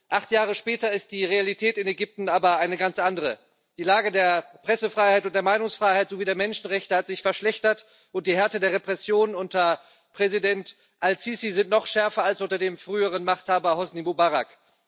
Acht Jahre später ist die Realität in Ägypten aber eine ganz andere Die Lage der Pressefreiheit und der Meinungsfreiheit sowie der Menschenrechte hat sich verschlechtert, und die Härte der Repression unter Präsident Al Sisi ist noch schärfer als unter dem früheren Machthaber Husni Mubarak.